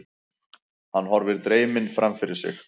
Hann horfir dreyminn framfyrir sig.